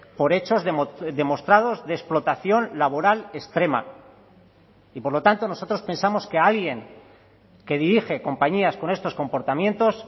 por hechos demostrados de explotación laboral extrema y por lo tanto nosotros pensamos que alguien que dirige compañías con estos comportamientos